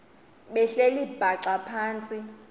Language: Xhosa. behleli bhaxa phantsi